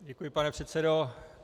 Děkuji, pane předsedo.